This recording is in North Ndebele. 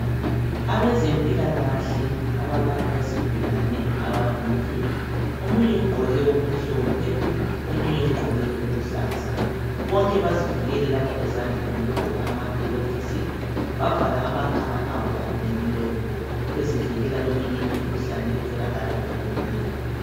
Abezempilakahle abalapha isigulane ababili. Omunye ugqoke okumhlophe omunye ugqoke okuluhlaza. Bonke bazivikele lapha ezandleni ngokugqoka amaglovisi , bavala amakhala abo kanye lemilomo. Bezivikela kweminye imikhuhlane etholakala emoyeni.